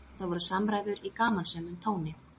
Þetta voru samræður í gamansömum tóni